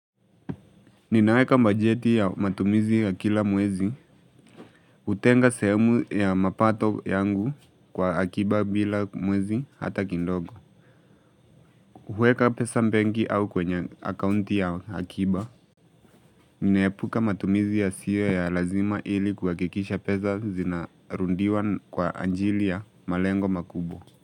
Ninaweka mbajeti ya matumizi ya kila mwezi, utenga sehemu ya mapato yangu kwa akiba bila mwezi hata kindogo. Hweka pesa mpengi au kwenye akaunti ya akiba, ninaepuka matumizi yasio ya lazima ili kukakikisha pesa zinarundiwa kwa anjili ya malengo makubwa.